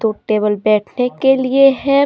वो टेबल बैठने के लिए है।